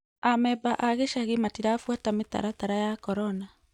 Amemba a gĩchagi matirabuata mĩtaratara ya korona